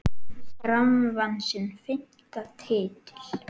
Fram vann sinn fimmta titil.